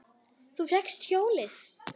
Þú fékkst hjólið!